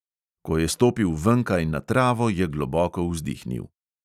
Ko je stopil venkaj na travo, je globoko vzdihnil.